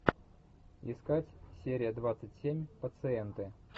искать серия двадцать семь пациенты